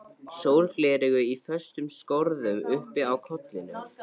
Sólgleraugu í föstum skorðum uppi á kollinum.